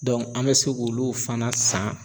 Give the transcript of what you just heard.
an bɛ se k'olu fana san